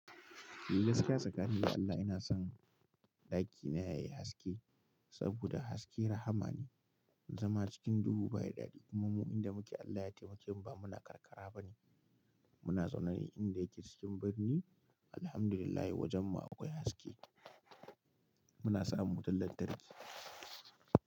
Lallai gaskiya tsakanin ni da Allah ina son ɗaki na yayi haske saboda haske rahama ne, zama cikin duhu ba yi daɗi. Kuma mu inda muke Allah ya taimake mu ba muna karkara ba ne, muna zaune ne inda yake cikin birni. Alhamdulillah wajen mu akwai haske, muna samun wutar lantarki.